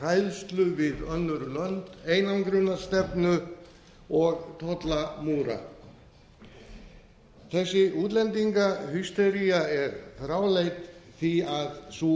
hræðslu við önnur lönd einangrunarstefnu og tollamúra þessi útlendingahystería er fráleit því sú